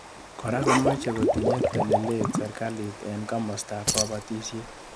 Kora komochei kotinyei telelet serkali eng komostab kobotisiet